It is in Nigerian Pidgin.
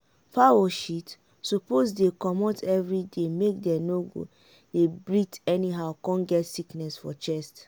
fowl shit suppose dey comot everyday make dem no go dey breath anyhow come get sickness for chest.